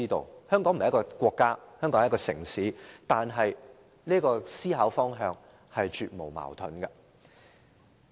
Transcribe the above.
雖然香港並非一個國家，只是一個城市，但這思考方向是絕無矛盾的。